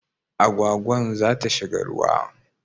Agwagwan za ta shiga ruwa